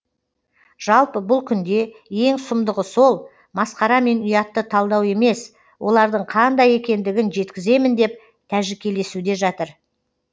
жалпы бұл күнде ең сұмдығы сол масқара мен ұятты талдау емес олардың қандай екендігін жеткіземін деп тәжікелесуде жатыр